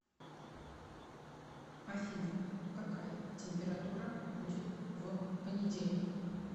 афина какая температура будет в понедельник